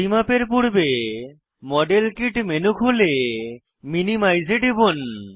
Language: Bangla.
পরিমাপের পূর্বে মডেল কিট মেনু খুলে মিনিমাইজ এ টিপুন